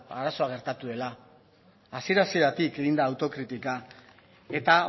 arazoa gertatu dela hasiera hasieratik egin da autokritika eta